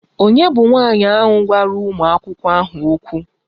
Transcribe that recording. Ònye bụ nwanyị ahụ gwara ụmụ akwụkwọ ahụ okwu?